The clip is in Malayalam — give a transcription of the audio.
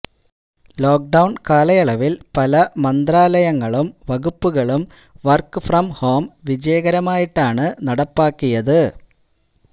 ലോക്ക്ഡൌണ് കാലയളവില് പല മന്ത്രാലയങ്ങളും വകുപ്പുകളും വര്ക്ക് ഫ്രം ഹോം വിജയകരമായിട്ടാണ് നടപ്പാക്കിയത്